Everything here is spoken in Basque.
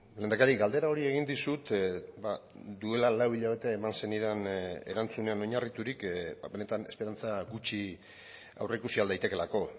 lehendakari galdera hori egin dizut duela lau hilabete eman zenidan erantzunean oinarriturik benetan esperantza gutxi aurreikusi ahal daitekeelako